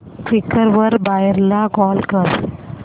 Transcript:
Quikr वर buyer ला call कर